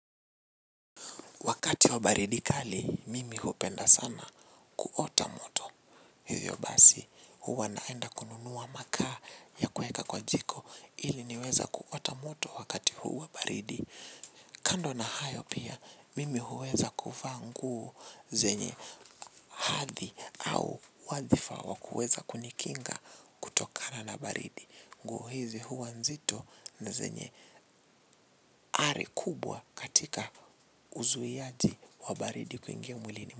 Wakati wa baridi kali, mimi hupenda sana kuota moto. Hivyo basi, huwa naenda kununua makaa ya kuweka kwa jiko ili niweze kuota moto wakati huu wa baridi. Kando na hayo pia, mimi huweza kufaa nguo zenye hadhi au wadhifa wa kuweza kunikinga kutokana na baridi. Nguo hizi huwa nzito na zenye ari kubwa katika uzuiaji wa baridi kuingia mwilini.